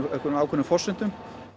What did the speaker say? á einhverjum ákveðnum forsendum